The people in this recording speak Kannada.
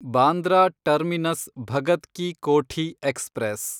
Bandra terminus Bhagat ki Kothi express